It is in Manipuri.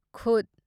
ꯈꯨꯠ